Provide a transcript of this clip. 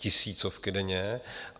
Tisícovky denně!